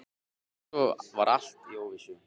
Og svo var allt í óvissu.